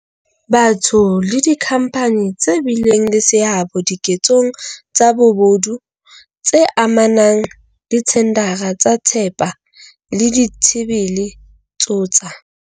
Batho le dikhampani tse bileng le seabo dike tsong tsa bobodu tse amanang le dithendara tsa thepa le ditshebele tso tsa.